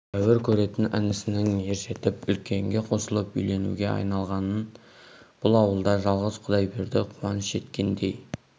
тәуір көретін інісінің ержетіп үлкенге қосылып үйленуге айналғанын бұл ауылда жалғыз құдайберді қуаныш еткендей